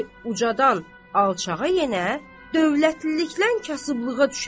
birisi ucadan alçağa yenə dövlətlilikdən kasıblığa düşə,